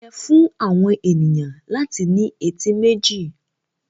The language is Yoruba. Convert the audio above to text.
Ó yẹ fún àwọn ènìyàn láti ní etí méjì.